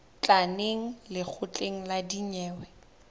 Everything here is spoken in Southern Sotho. tla neng lekgotleng la dinyewe